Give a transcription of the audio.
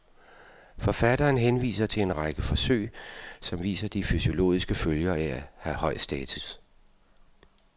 Forfatteren henviser til en række forsøg, som viser de fysiologiske følger af at have høj status.